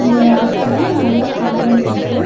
இந்த எடத்துல நெறையா பாறைங்க இருக்கு.